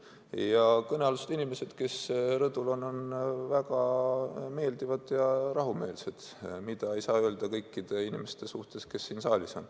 Ja kõnealused inimesed, kes rõdul on, on väga meeldivad ja rahumeelsed, mida ei saa öelda kõikide inimeste kohta, kes siin saalis on.